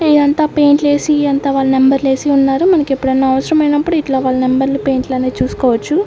ఇది అంత పెయింట్ లు వేసి అంతా వాళ్ళ నెంబర్ లు వేసి ఉన్నారు మనకి ఎప్పుడూ అన్న అవసరం అయినప్పుడు ఇట్లా వాళ్ల నెంబర్ లు పెయింట్ లు అనేవి చూసుకోవచ్చు.